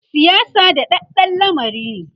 siyasa daɗaɗɗan lamari ne